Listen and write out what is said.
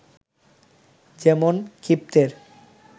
যেমন ক্ষিপ্তের